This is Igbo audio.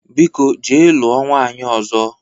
Biko jee lụọ nwanyị ọzọ!